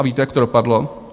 A víte, jak to dopadlo?